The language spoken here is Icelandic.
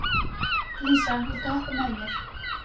Lísa, viltu hoppa með mér?